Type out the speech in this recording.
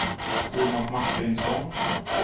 Tomas Martinsson